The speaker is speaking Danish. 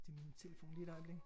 Det min telefon lige et øjeblik